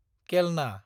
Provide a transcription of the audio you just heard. केलना